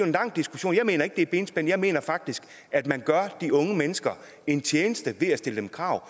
lang diskussion jeg mener ikke det er benspænd jeg mener faktisk at man gør de unge mennesker en tjeneste ved at stille krav